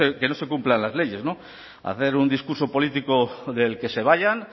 que no se cumplan las leyes hacer un discurso político del que se vayan